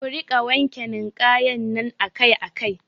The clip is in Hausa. Ku rika wanke ninkayan nan akai akai